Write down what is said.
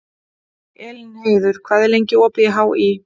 Elínheiður, hvað er lengi opið í HÍ?